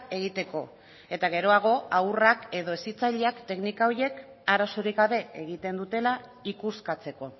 egiteko eta geroago haurrak edo hezitzaileak teknika horiek arazorik gabe egiten dutela ikuskatzeko